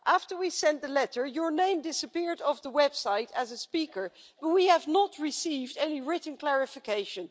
After we sent the letter, your name disappeared from the website as a speaker but we have not received any written clarification.